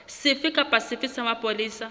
sefe kapa sefe sa mapolesa